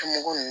Tomugu